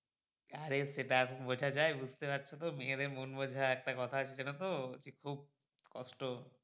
আরে সেটা বোঝা যায় বুঝতে পারছো তো মেয়েদের মন বোঝা একটা কথা আছে জানো তো যে খুব কষ্ট।